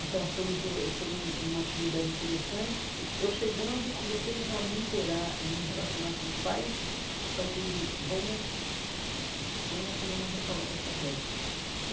Então, foi um pro foi um uma atividade interessante que, eu chegando, comecei já a me interar e me relacionar com os pais a partir do... Vamos vamos fazer uma reforma dessa creche.